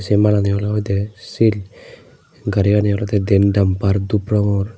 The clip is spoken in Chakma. se malani olo oide sil gariyani olody dean damper dup rongor.